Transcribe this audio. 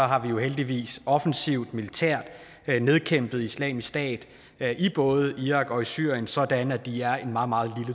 har vi jo heldigvis offensivt militært nedkæmpet islamisk stat i både irak og syrien sådan at de er en meget meget